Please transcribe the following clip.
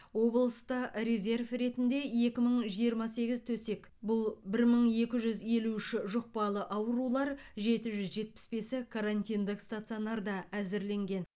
облыста резерв ретінде екі мың жиырма сегіз төсек бұл бір мың екі жүз елу үші жұқпалы аурулар жеті жүз жетпіс бесі карантиндік стационарда әзірленген